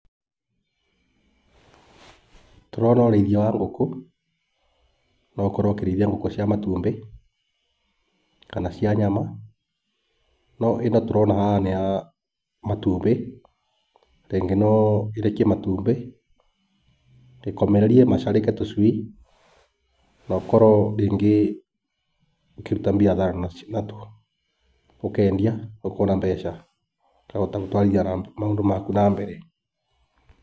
Tũrona ũrĩithia wa ngũkũ, no ũkorwo ũkĩrĩithia ngũkũ cia matumbĩ kana cia nyama, no ĩno tũrona haha nĩ ya matumbĩ, rĩngĩ no ĩrekie matumbĩ ĩkomererie macarĩke tũcui. Na ũkorwo rĩngĩ ũkĩruta mbiathara natuo, ũkendia ũkona mbeca, ũkahota gũtwarithia maũndũ maku na mbere.